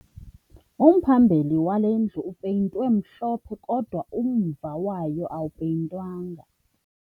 Umphambili wale ndlu upeyintwe mhlophe kodwa umva wayo awupeyintwanga